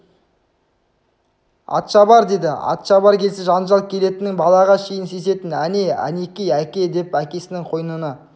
атшабар деді атшабар келсе жанжал келетінін балаға шейін сезетін әне әнеки әке деп әкесінің қойнына